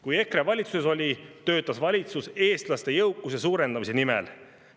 Kui EKRE valitsuses oli, töötas valitsus eestlaste jõukuse suurendamise nimel.